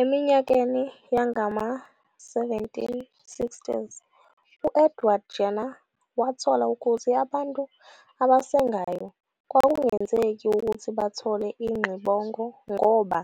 Eminyakeni yangama-1760s, u- Edward Jenner wathola ukuthi abantu abasengayo kwakungenzeki ukuthi bathole ingxibongo ngoba